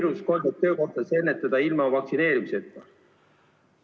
...... viirust töökohtades ennetada ilma vaktsineerimiseta.